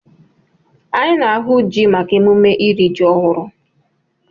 Anyị na-ahụ ji maka emume iri ji ọhụrụ.